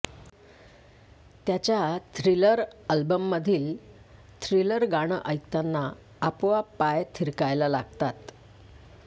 त्याच्या थ्रिलर अल्बममधील थ्रिलर गाणं ऐकताना आपोआप पाय थिरकायला लागतात